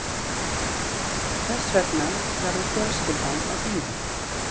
Þess vegna verður fjölskyldan að bíða